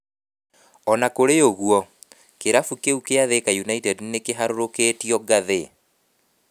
O na kũrĩ ũguo, kĩrabu kĩu kĩa Thika United nĩ kĩharũrũkitio ngathĩ.